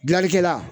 Gilanlikɛla